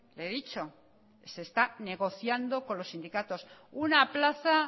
le he dicho se está negociando con los sindicatos una plaza